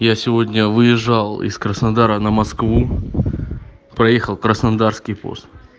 я сегодня выезжал из краснодара на москву проехал краснодарский пост